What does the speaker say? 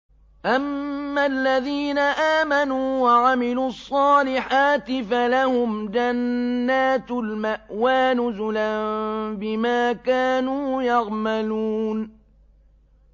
أَمَّا الَّذِينَ آمَنُوا وَعَمِلُوا الصَّالِحَاتِ فَلَهُمْ جَنَّاتُ الْمَأْوَىٰ نُزُلًا بِمَا كَانُوا يَعْمَلُونَ